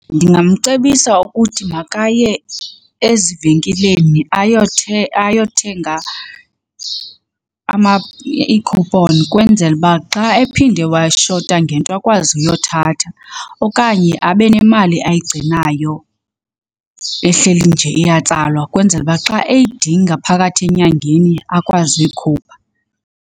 Ndingamcebisa ukuthi makaye ezivenkileni ayothenga ii-coupon kwenzela uba xa ephinde washota ngento akwazi uyothatha. Okanye abe nemali ayigcinayo ehleli nje iyatsalwa kwenzela uba xa eyidinga phakathi enyangeni akwazi uyikhupha.